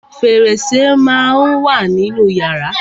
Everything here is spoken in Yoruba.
Fẹ̀rẹsẹ́ má á ń wà nínú yàrá.